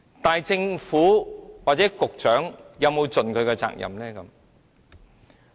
但是，政府或局長，有沒有盡他們的責任呢？